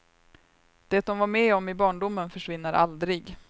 Det de var med om i barndomen försvinner aldrig.